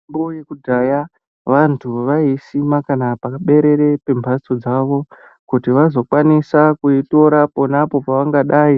Mitombo yekudhaya vantu vai isima kana paberere pe mbatso dzavo kuti vazo kwanisa ku yitora ponapo pavangadai